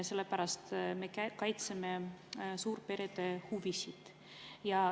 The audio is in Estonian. Sellepärast, et me kaitseme perede huvisid.